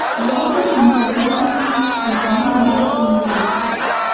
Baribir nomzodlar orasida bizning nomzod ham bor ekan.